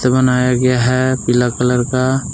बनाया गया है पीला कलर का।